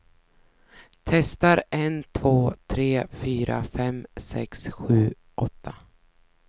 Testar en två tre fyra fem sex sju åtta.